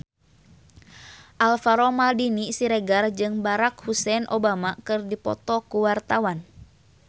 Alvaro Maldini Siregar jeung Barack Hussein Obama keur dipoto ku wartawan